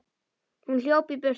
Hún hljóp í burtu.